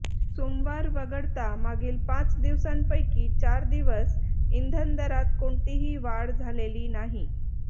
सोमवार वगळता मागील पाच दिवसांपैकी चार दिवस इंधन दरात कोणतीही वाढ झालेली नाही